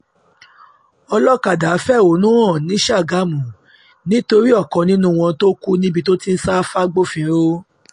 ọlọ́kadà fẹ̀hónú hàn ní ṣàgámù nítorí ṣàgámù nítorí ọ̀kan nínú wọn tó kù níbi tó ti ń sá fagbófinró